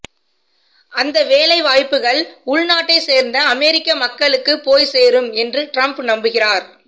அந்த வேலைவாய்ப்புகள் உள்நாட்டைச் சேர்ந்த அமெரிக்க மக்களுக்கு போய்ச்சேரும் என்று ட்ரம்ப் நம்புகிறார்